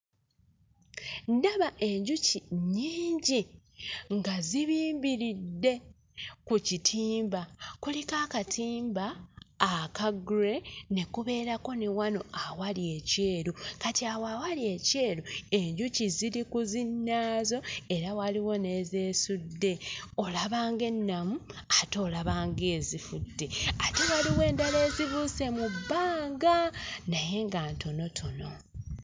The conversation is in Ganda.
Ndaba enjuki nnyingi nga zibimbiridde ku kitimba. Kuliko akatimba aka gray ne wano awali ekyeru kati awo awali ekyeru enjuki ziri ku zinnaazo era waliwo n'ezeesudde olaba ng'ennamu ate olaba ng'ezifudde. Ate waliwo endala ezibuuze mu bbanga naye nga ntonotono.